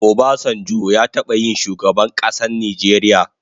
Obasanjo ya taba yin shugaban kasan Nijeria